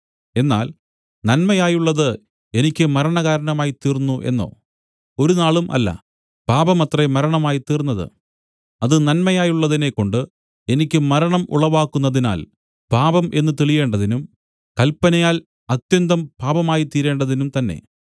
എന്നാൽ നന്മയായുള്ളത് എനിക്ക് മരണകാരണമായിത്തീർന്നു എന്നോ ഒരുനാളും അല്ല പാപമത്രേ മരണമായിത്തീർന്നത് അത് നന്മയായുള്ളതിനെക്കൊണ്ട് എനിക്ക് മരണം ഉളവാക്കുന്നതിനാൽ പാപം എന്നു തെളിയേണ്ടതിനും കല്പനയാൽ അത്യന്തം പാപമായിത്തീരേണ്ടതിനും തന്നെ